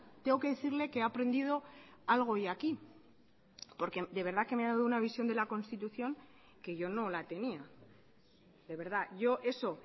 tengo que decirle que he aprendido algo hoy aquí porque de verdad que me ha dado una visión de la constitución que yo no la tenía de verdad yo eso